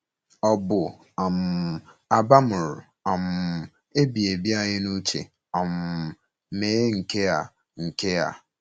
Ọ bu um abamuru um ebighị ebi anyị n’uche um mee nke a. nke a.